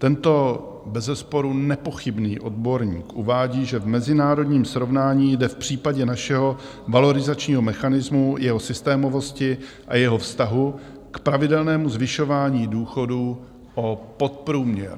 Tento bezesporu nepochybný odborník uvádí, že v mezinárodním srovnání jde v případě našeho valorizačního mechanismu, jeho systémovosti a jeho vztahu k pravidelnému zvyšování důchodů o podprůměr.